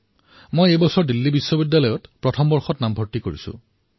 মই চলিত বৰ্ষত দিল্লী বিশ্ববিদ্যালয়ত প্ৰথম বৰ্ষত নাম ভৰ্তি কৰিছোঁ